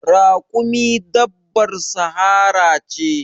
Raƙumi dabbar sahara ce.